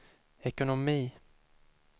ekonomi